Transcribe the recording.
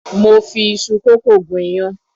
Mo fi iṣu kókò gún iyán.